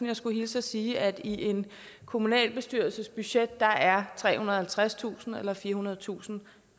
jeg skulle hilse og sige at i en kommunalbestyrelses budget er trehundrede og halvtredstusind eller firehundredetusind